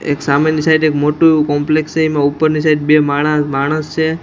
એક સામેની સાઈડ એક મોટું એવુ કોમ્પલેક્ષ છે એમા ઉપરની સાઈડ બે માણા માણસ છે.